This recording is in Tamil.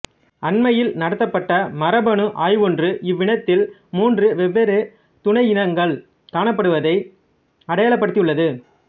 அண்மையில் நடத்தப்பட்ட மரபணு ஆய்வொன்று இவ்வினத்தில் மூன்று வெவ்வேறு துணையினங்கள் காணப்படுவதை அடையாளப்படுத்தியுள்ளது